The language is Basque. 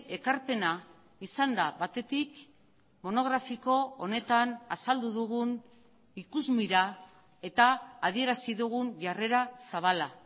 ekarpena izan da batetik monografiko honetan azaldu dugun ikusmira eta adierazi dugun jarrera zabala